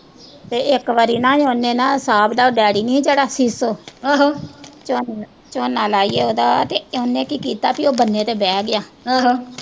ਤੇ ਇੱਕ ਵਾਰੀ ਨਾ ਉਹਨੇ ਨਾ, ਸਾਹਬ ਦਾ ਉਹ ਡੈਡੀ ਨੀ ਜਿਹੜਾ ਝੋਨਾ ਲਾਈਏ ਉਹਦਾ ਤੇ ਇਹਨੇ ਕੀ ਕੀਤਾ ਕਿ ਇਹ ਬੰਨੇ ਤੇ ਬਹਿ ਗਿਆ